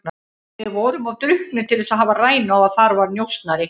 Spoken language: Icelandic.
Við vorum of drukknir til að hafa rænu á að þar var njósnari.